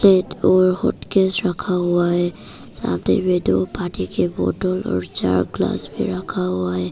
एक ओर हॉटकेस रखा हुआ है। सामने में दो पानी के बोतल और चार ग्लास भी रखा हुआ है।